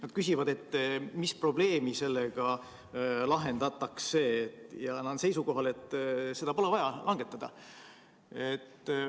Nad küsivad, mis probleemi sellega lahendatakse, ja on seisukohal, et seda pole vaja langetada.